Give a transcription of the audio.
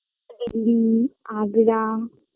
Delhi Agra